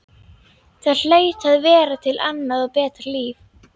Það hlaut að vera til annað og betra líf.